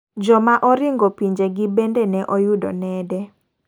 Joma oringo pinje gi bende ne oyudo nede.